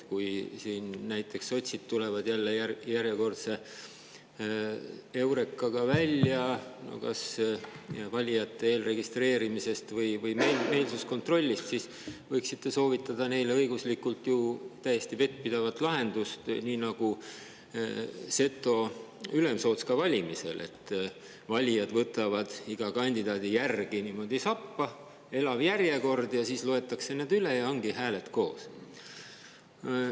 Kui näiteks sotsid tulevad jälle välja järjekordse heurekaga kas valijate eelregistreerimise või meelsuskontrolli kohta, siis võiksite soovitada neile õiguslikult ju täiesti vettpidavat lahendust, nii nagu on seto ülemsootska valimisel: valijad võtavad iga kandidaadi järel sappa, on elav järjekord, siis loetakse üle ja ongi hääled koos.